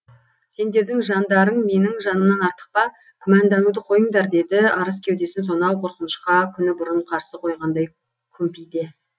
сендердің жандарың менің жанымнан артық па күмәндануды қойыңдар деді арыс кеудесін сонау қорқынышқа күні бұрын қарсы қойғандай күмпите